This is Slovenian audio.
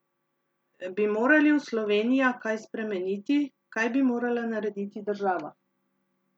Bi morali v Slovenija kaj spremeniti, kaj bi morala narediti država?